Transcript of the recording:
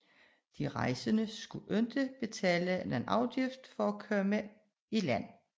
De rejsende skulle ikke betale nogen afgift for at komme i land